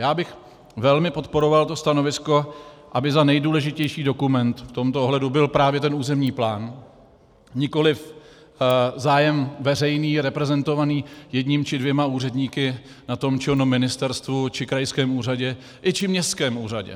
Já bych velmi podporoval to stanovisko, aby za nejdůležitější dokument v tomto ohledu byl právě ten územní plán, nikoliv zájem veřejný reprezentovaný jedním či dvěma úředníky na tom či onom ministerstvu či krajském úřadě i či městském úřadě.